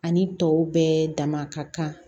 Ani tɔw bɛɛ dama ka kan